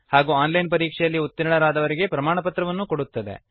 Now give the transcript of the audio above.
ಹಾಗೂ online ಪರೀಕ್ಷೆಯಲ್ಲಿ ಉತ್ತೀರ್ಣರಾದವರಿಗೆ ಪ್ರಮಾಣಪತ್ರವನ್ನು ಕೊಡುತ್ತದೆ